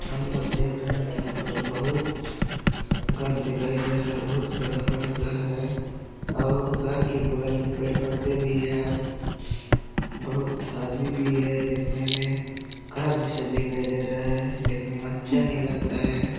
हम लोग देख रहे है कि यहां पर बहुत घर दिखाई दे रहा है। बहुत बड़ा- बड़ा घर है और घर के बगल में पेड़ पौधे भी है और बहुत आदमी भी है। देखने में खराब जैसा दिखाई दे रहे है। देखने में अच्छा नही लगता है।